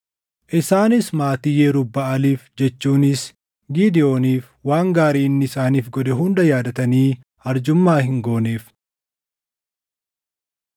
Isaanis maatii Yerub-Baʼaaliif jechuunis Gidewooniif waan gaarii inni isaaniif godhe hunda yaadatanii arjummaa hin gooneef.